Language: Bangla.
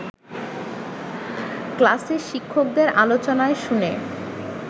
ক্লাসে শিক্ষকদের আলোচনায় শুনে